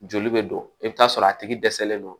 Joli bɛ don i bɛ t'a sɔrɔ a tigi dɛsɛlen don